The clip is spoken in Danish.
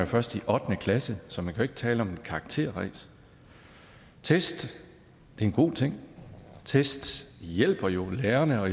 først i ottende klasse så man kan ikke tale om et karakterræs test er en god ting test hjælper jo lærerne og